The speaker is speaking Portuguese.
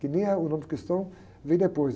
Que nem é, o nome cristão vem depois.